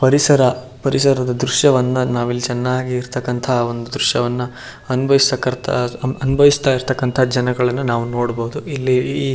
ಪರಿಸರ ಪರಿಸದ ದ್ರಶ್ಯವನ್ನು ನಾವಿಲ್ಲಿ ಚೆನ್ನಾಗಿ ಇರ್ತಕ್ಕಂತಹ ಒಂದು ದ್ರಶ್ಯವನ್ನು ಅನುಭವಿಸ್ತಾ ಇರ್ತಕ್ಕಂತಹ ಜನರನ್ನು ನಾವು ನೋಡಬಹುದು ಇಲ್ಲಿ --